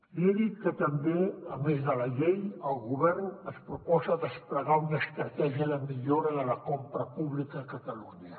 li he dit que també a més de la llei el govern es proposa desplegar una estratègia de millora de la compra pública a catalunya